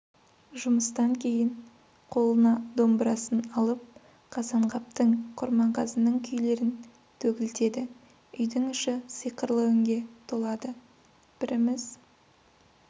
жұмыстан кейін қолына домбырасын алып қазанғаптың құрманғазының күйлерін төгілтеді үйдің іші сиқырлы үнге толады бріміз